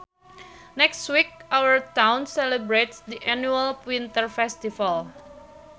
Next week our town celebrates the annual winter festival